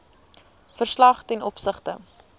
verslag ten opsigte